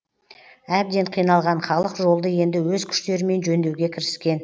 әбден қиналған халық жолды енді өз күштерімен жөндеуге кіріскен